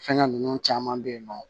Fɛngɛ ninnu caman bɛ yen nɔ